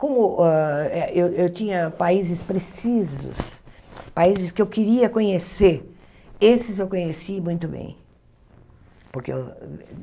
Como hã eh eu tinha países precisos, países que eu queria conhecer, esses eu conheci muito bem. Porque eu